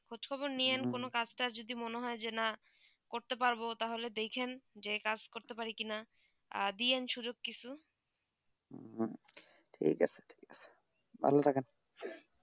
খোঁজ খবর নিয়েন কোনো কাজ তা যদি মনে যে না করতে পারবো তা হলে দেখেন যে কাজ করতে পারি কি না দিয়েন সুযোগ কিছু ঠিক আছে ঠিক আছে ভালো থাকেন